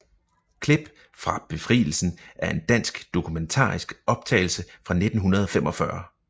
Klip fra Befrielsen er en dansk dokumentarisk optagelse fra 1945